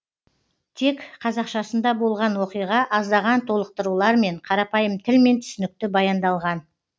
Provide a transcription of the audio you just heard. тек қазақшасында болған оқиға аздаған толықтырулармен қарапайым тілмен түсінікті баяндалған